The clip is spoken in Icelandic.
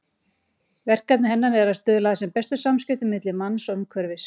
Verkefni hennar er að stuðla sem bestum samskiptum milli manns og umhverfis.